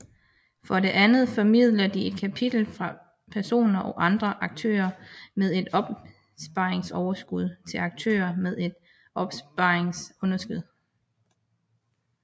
For det andet formidler de kapital fra personer og andre aktører med et opsparingsoverskud til aktører med et opsparingsunderskud